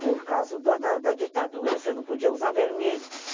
Por causa do da da ditadura, você não podia usar vermelho.